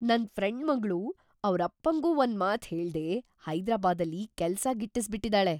ನನ್‌ ಫ್ರೆಂಡ್ ಮಗ್ಳು ಅವರಪ್ಪಂಗೂ ಒಂದ್ಮಾತ್ ಹೇಳ್ದೆ ಹೈದರಾಬಾದಲ್ಲಿ ಕೆಲ್ಸ‌ ಗಿಟ್ಟಿಸ್ಬಿಟಿದಾಳೆ!